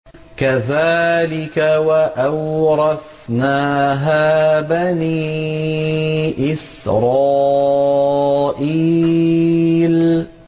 كَذَٰلِكَ وَأَوْرَثْنَاهَا بَنِي إِسْرَائِيلَ